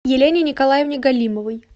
елене николаевне галимовой